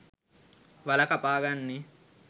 වල කපාගන්නේ